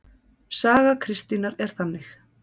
Saga Kristínar er þannig